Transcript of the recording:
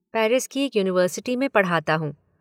Paris की एक university में पढ़ाता हूँ।